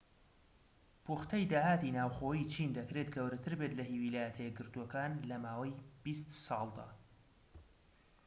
پوختەی داهاتی ناوخۆیی چین دەکرێت گەورەتر بێت لە هی ویلایەتە یەکگرتوەکان لە ماوەی بیست ساڵدا